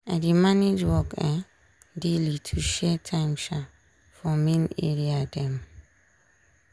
i dey manage work um daily to share time um for main area dem.